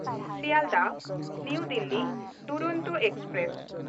ᱥᱤᱭᱟᱞᱫᱟᱦ–ᱱᱟᱣᱟ Delhi Duronto express